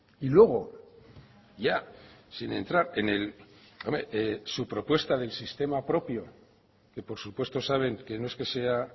y luego ya sin entrar en el hombre su propuesta del sistema propio que por supuesto saben que no es que sea